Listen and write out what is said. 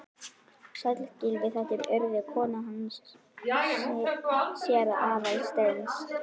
Sæll, Gylfi, þetta er Urður, konan hans séra Aðal steins.